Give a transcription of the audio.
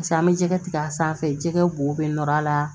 pase an be jɛgɛ tigɛ a sanfɛ jɛgɛ bo a la